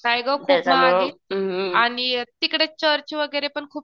काय गं खूप महाग आहे आणि तिकडे चर्च वगैरे पण खूप छान आहे बघायला.